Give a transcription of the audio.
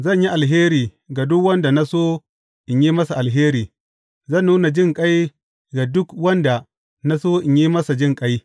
Zan yi alheri ga duk wanda na so in yi masa alheri, zan nuna jinƙai ga duk wanda na so in yi masa jinƙai.